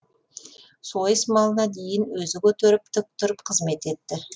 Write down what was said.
сойыс малына дейін өзі көтеріп тік тұрып қызмет етті